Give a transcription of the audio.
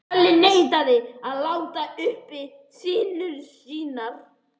Kalli neitaði að láta uppi sínar sýnir.